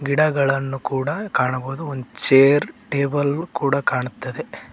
ಗಿಡಗಳನ್ನೂ ಕೂಡ ಕಾಣಬೋದು ಒಂದ್ ಚೇರ್ ಟೇಬಲ್ ಕೂಡ ಕಾಣುತ್ತದೆ.